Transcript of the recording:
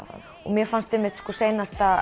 mér fannst seinasti